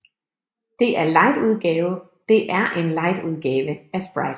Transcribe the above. Det er en lightudgave af Sprite